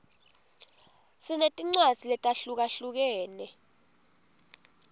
sinetincwadzi letahlukahlukene